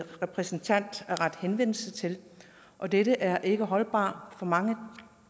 repræsentant at rette henvendelse til og det er ikke holdbart for mange